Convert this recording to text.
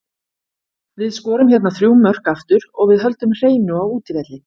Við skorum hérna þrjú mörk aftur og við höldum hreinu á útivelli.